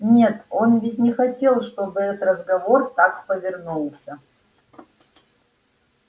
нет он ведь не хотел чтобы этот разговор так повернулся